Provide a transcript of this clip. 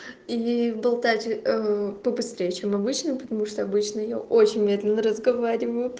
и болтать побыстрее чем обычно потому что обычно я очень медленно разговариваю